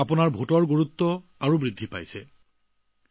ইয়াৰ বাবেই আপোনাৰ প্ৰতিটো ভোটৰ গুৰুত্ব বাঢ়িছে